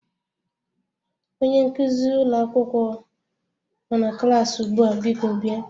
Onye nkuzi ụlọ akwụkwọ nọ na klas ugbu a, biko bịa.